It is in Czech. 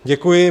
Děkuji.